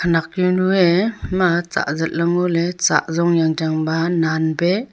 khanak jau nu ee ima cha zatla ngoley cha zong yang chang ba nan pe.